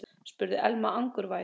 spurði Elma angurvær.